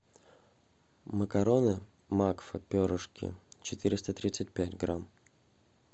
макароны макфа перышки четыреста тридцать пять грамм